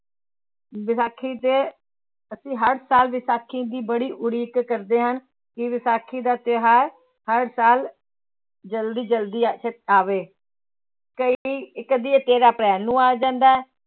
ਵਿਸਾਖੀ ਦੇ ਅਸੀਂ ਹਰ ਸਾਲ ਵਿਸਾਖੀ ਦੀ ਬੜੀ ਉਡੀਕ ਕਰਦੇ ਹਾਂ ਕਿ ਵਿਸਾਖੀ ਦਾ ਤਿਉਹਾਰ ਹਰ ਸਾਲ ਜ਼ਲਦੀ ਜ਼ਲਦੀ ਆਵੇ ਕਈ ਕਦੇ ਇਹ ਤੇਰਾਂ ਅਪ੍ਰੈਲ ਨੂੰ ਆ ਜਾਂਦਾ ਹੈ l